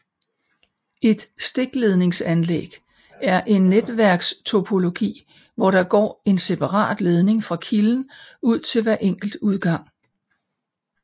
Et stikledningsanlæg er en netværkstopologi hvor der går en separat ledning fra kilden ud til hver enkelt udgang